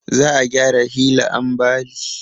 Za a gyara hila ambali